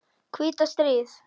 hvíta stríð.